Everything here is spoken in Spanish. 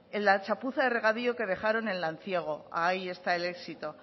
la chapuza de regadío que dejaron en lanciego ahí está el éxito